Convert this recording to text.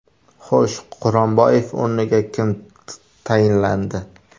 Xo‘sh, Quronboyev o‘rniga kim tayinlandi?